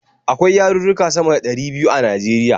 Akwai yarurruka sama da ɗari biyu a Najeriya.